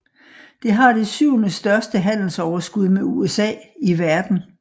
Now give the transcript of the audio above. Det har det syvende største handelsoverskud med USA i verden